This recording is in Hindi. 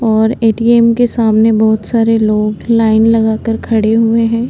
और ए.टी.एम. के सामने बहोत सारे लोग लाइन लगा कर खड़े हुए हैं।